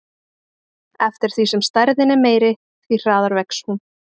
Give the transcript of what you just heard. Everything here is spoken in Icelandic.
Eftir því sem stærðin er meiri, því hraðar vex hún.